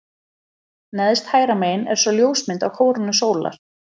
Neðst hægra megin er svo ljósmynd af kórónu sólar.